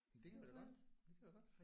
Det kan vi da godt. Vi kan da godt